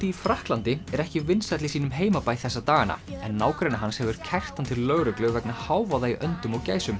í Frakklandi er ekki vinsæll í sínum heimabæ þessa dagana en nágranni hans hefur kært hann til lögreglu vegna hávaða í öndum og gæsum